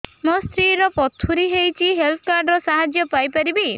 ମୋ ସ୍ତ୍ରୀ ର ପଥୁରୀ ହେଇଚି ହେଲ୍ଥ କାର୍ଡ ର ସାହାଯ୍ୟ ପାଇପାରିବି